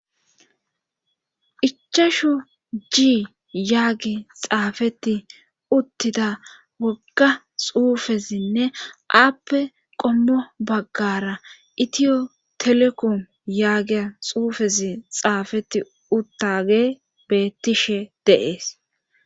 ichasho ji yaagi xaafeti uttida wogga xuufezinne aappe qommo baggara itiyo telekom yaagiya xuufezi xaafeti uttage bettishe deees